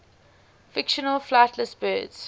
fictional flightless birds